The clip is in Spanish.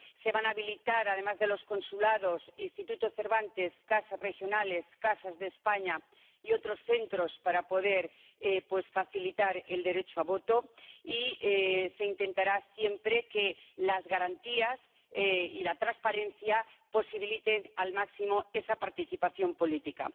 se van a habilitar, además de los consulados, los institutos Cervantes, las casas regionales, las casas de España y otros centros para poder facilitar el derecho al voto, y se intentará siempre que las garantías y la transparencia posibiliten al máximo esa participación política.